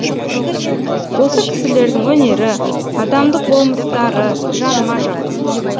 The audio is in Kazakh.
осы кісілердің өнері адамдық болмыстары жаныма жақын